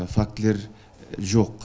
фактілер жоқ